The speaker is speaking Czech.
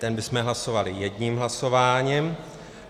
Ten bychom hlasovali jedním hlasováním.